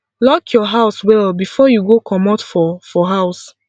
lock your house well before you go comot for for house